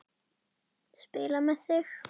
Spila með þig?